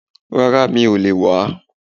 Rárà mi ò lè wàá